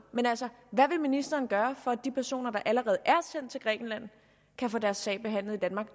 hvad vil ministeren gøre for at de personer der allerede er sendt til grækenland kan få deres sag behandlet i danmark